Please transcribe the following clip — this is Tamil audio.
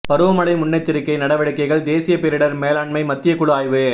பருவமழை முன்னெச்சரிக்கை நடவடிக்கைகள் தேசிய பேரிடர் மேலாண்மை மத்திய குழு ஆய்வு